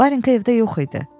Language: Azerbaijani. Varinka evdə yox idi.